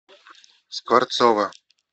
скворцова